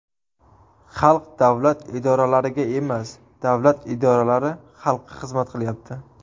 Xalq davlat idoralariga emas, davlat idoralari xalqqa xizmat qilyapti.